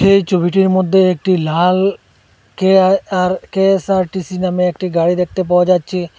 এই ছবিটির মধ্যে একটি লাল কে আর কে_এস_আর_টি_সি নামে একটি গাড়ি দেখতে পাওয়া যাচ্ছে।